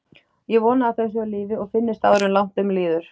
Ég vona að þau séu á lífi og finnist áður en langt um líður.